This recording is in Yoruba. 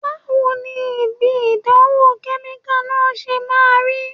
Báwo ni ibi ìdánwò kẹ́míkà náà ṣe máa rí?